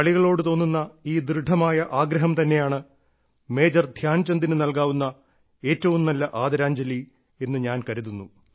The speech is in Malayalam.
കളികളോട് തോന്നുന്ന ഈ ദൃഢമായ ആഗ്രഹം തന്നെയാണ് മേജർ ധ്യാൻചന്ദിന് നൽകാവുന്ന ഏറ്റവും നല്ല ആദരാഞ്ജലി എന്ന് ഞാൻ കരുതുന്നു